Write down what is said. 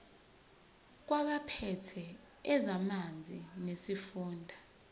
kwabaphethe ezamanzi nesifunda